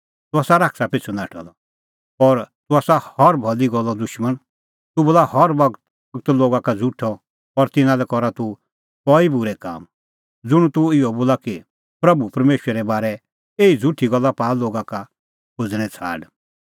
तूह आसा शैताना पिछ़ू नाठअ द और तूह आसा हर भली गल्लो दुशमण तूह बोला हर बगत लोगा का झ़ुठअ और तिन्नां लै करा तूह कई बूरै काम ज़ुंण तूह इहअ बोला कि प्रभू परमेशरे बारै ईंयां गल्ला निं सच्च़ी आथी एही झ़ुठी गल्ला पाआ लोगा का खोज़णें छ़ाड़